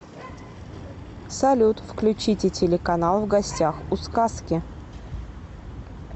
салют включите телеканал в гостях у сказки